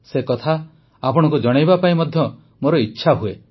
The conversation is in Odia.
ସେ କଥା ଆପଣଙ୍କୁ ଜଣାଇବା ପାଇଁ ମଧ୍ୟ ମୋର ଇଚ୍ଛା ହୁଏ